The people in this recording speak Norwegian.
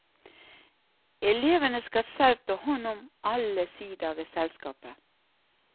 Elevene skal selv ta hånd om alle sider ved selskapet.